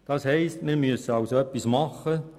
Das heisst, dass wir etwas tun müssen.